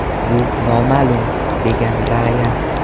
Bu noma’lum”, degan Rayan.